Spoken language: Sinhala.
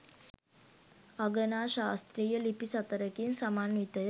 අගනා ශාස්ත්‍රීය ලිපි සතරකින් සමන්විතය.